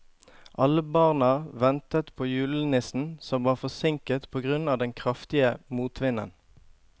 Alle barna ventet på julenissen, som var forsinket på grunn av den kraftige motvinden.